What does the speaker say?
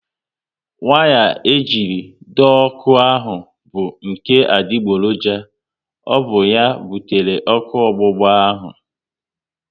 Waya e jiri dọọ ọkụ ahụ bụ nke adigboroja, ọ bụ ya butere ọkụ ọgbụgba ahu